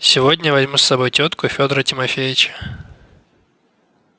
сегодня я возьму с собой тётку и федора тимофеича